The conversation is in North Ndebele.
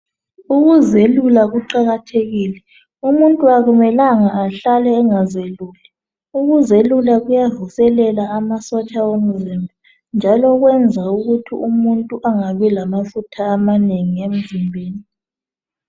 Ukuzelula kuqakathekile, umuntu akumelanga ahlale engazeluli . Ukuzelula kuyavuselela amasotsha omzimba njalo kwenza ukuthi umuntu angabi lamafutha amanengi emzimbeni.